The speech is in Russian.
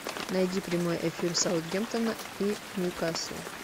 найди прямой эфир саутгемптона и ньюкасл